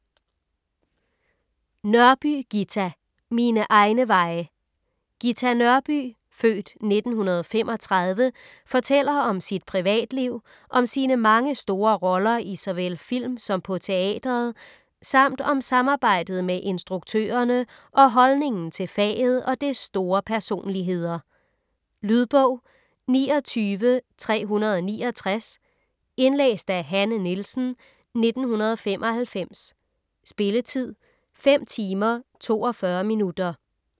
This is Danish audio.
Nørby, Ghita: Mine egne veje Ghita Nørby (f. 1935) fortæller om sit privatliv, om sine mange store roller i såvel film som på teatret samt om samarbejdet med instruktørerne og holdningen til faget og dets store personligheder. Lydbog 29369 Indlæst af Hanne Nielsen, 1995. Spilletid: 5 timer, 42 minutter.